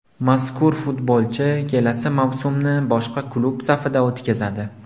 Mazkur futbolchi kelasi mavsumni boshqa klub safida o‘tkazadi.